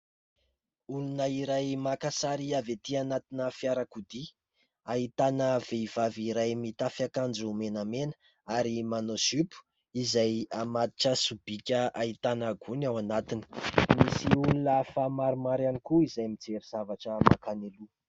Olona iray maka sary avy etỳ anatina fiarakodia. Ahitana vehivavy iray mitafy akanjo menamena ary manao zipo izay mamatotra sobika ahitana gony ao anatiny. Misy olona hafa maromaro ihany koa izay mijery zavatra mankany aloha.